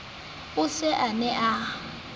o se a ne a